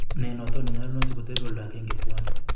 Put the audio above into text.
Nee noton nenyolunot sikotebet oldo agengee twaan.